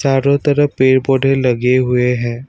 चारों तरफ पेड़ पौधे लगे हुए हैं।